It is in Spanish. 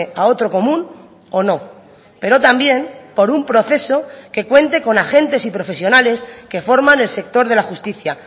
a otro común o no pero también por un proceso que cuente con agentes y profesionales que forman el sector de la justicia